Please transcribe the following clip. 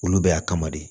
Olu bɛ y'a kama de